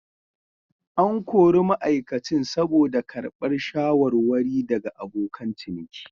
An kori ma'aikacin saboda karbar shawarwari daga abokan ciniki.